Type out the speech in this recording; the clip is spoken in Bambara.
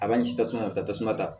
A b'a sigi tasuma ka tasuma ta